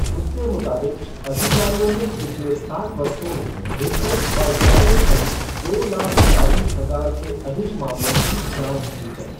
उसके मुताबिक़, अधिकारियों ने पिछले सात वर्षों में रिश्वत और गबन सहित दो लाख चालीस हजार से अधिक मामलों की जाँच की है।